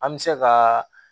An bɛ se ka